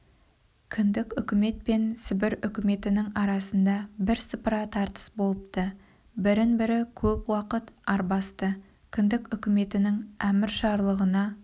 кіндік үкімет пен сібір үкіметінің арасында бірсыпыра тартыс болыпты бірін-бірі көп уақыт арбасты кіндік үкіметінің әмір-жарлығына